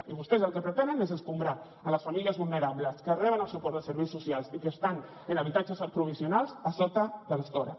i vostès el que pretenen és escombrar les famílies vulnerables que reben el suport de serveis socials i que estan en habitatges provisionals a sota de l’estora